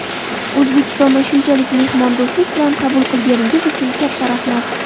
O‘zbekistonda shunchalik mehmondo‘stlik bilan qabul qilganingiz uchun katta rahmat!